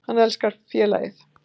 Hann elskar félagið.